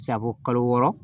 Sago kalo wɔɔrɔ